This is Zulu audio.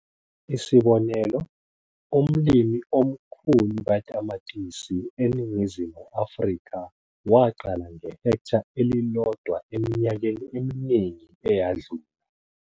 Isibonelo - umlimi omkhulu katamatisi eNingizimu Afrika waqala ngehektha elilodwa eminyakeni eminingi eyadlula.